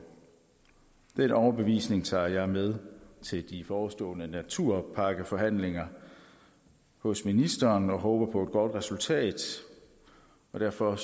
den overbevisning tager jeg med til de forestående naturpakkeforhandlinger hos ministeren og håber på et godt resultat og derfor